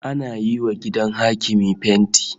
Ana yiwa gidan hakimi fenti